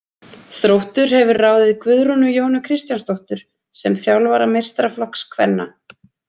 Þróttur hefur ráðið Guðrúnu Jónu Kristjánsdóttur sem þjálfara meistaraflokks kvenna.